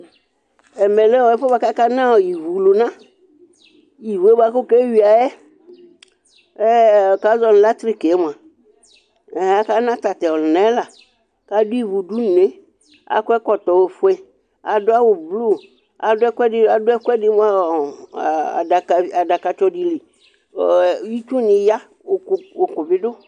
Ɛmɛ lɛ ɛfʋɛ bʋa kʋ aka na ivu lʋna: ivu yɛ bʋa kʋ wʋ ke yuǝ yɛ, bʋa kʋ azɔ nʋ latrɩkɩ yɛ mʋa, aka na tatʋ ɔlʋna yɛ laK' adʋ ivu dʋ nʋ une ,adʋ awʋ blu akɔ ɛkɔtɔ ofueAdʋ ɛkʋɛdɩ mʋ ɔ adakatsɔ dɩ li, itsu ya ,ʋkʋ bɩ dʋ